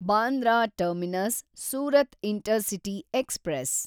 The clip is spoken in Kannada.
Bandra terminus Surat intercity express